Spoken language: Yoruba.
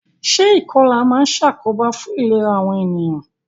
Se ìkolà ma n sàkóbá fun ìlera àwon ènìyàn